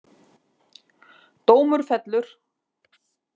Dómur fellur